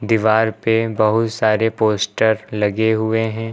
दीवार पे बहुत सारे पोस्टर लगे हुए है।